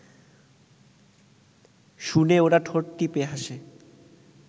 শুনে ওরা ঠোঁট টিপে হাসে